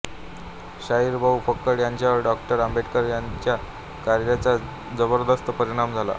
शाहीर भाऊ फक्कड यांच्यावर डॉक्टर आंबेडकर यांच्या कार्याचा जबरदस्त परिणाम झाला